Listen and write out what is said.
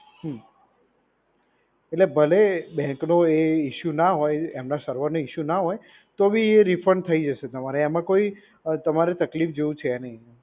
હમ્મ. એટલે ભલે એ બેંકનો એ ઇશ્યૂ ના હોય એમના સર્વર ને ઇશ્યૂ ના હોય તો બી એ રિફંડ થઈ જશે તમારે. એમાં કોઈ તમારે તકલીફ જેવું છે નહીં.